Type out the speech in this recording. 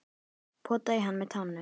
Potaði í hann með tánum.